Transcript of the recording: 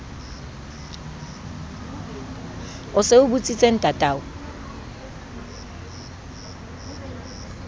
o se o botsitse ntatao